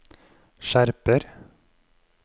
skjerper